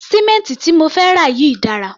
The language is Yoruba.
Sì̀mẹ́ǹtì tí mo fẹ́ rà yìí dára.